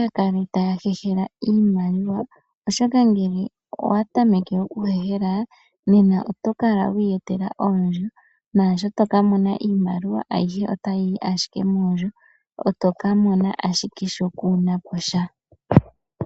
yakale tayahehele iimaliwa oshoka ngele owatameke oku hehela oto kala wiyetela oondjo nasho tokamona iimaliwa ayihe ota yiyi ashike mondjo oto kamona ik sho kunaposha.